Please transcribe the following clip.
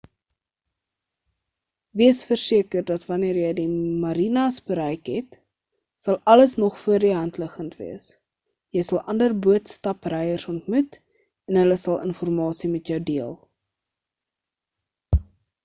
wees versekerd dat wanneer jy die marinas bereik het sal alles nogal voor die hand liggend wees jy sal ander boot-stapryers ontmoet en hulle sal hul informasie met jou deel